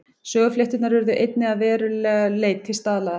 Söguflétturnar urðu einnig að verulegu leyti staðlaðar.